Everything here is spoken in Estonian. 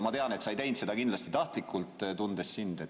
Ma tean, et sa ei teinud seda tahtlikult, tunnen sind.